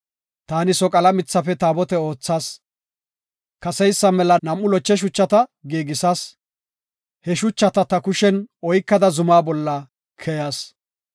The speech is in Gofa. Taani soqala mithafe taabote oothas. Kaseysa mela nam7u loche shuchata giigisas; he shuchata ta kushen oykada zumaa bolla keyas.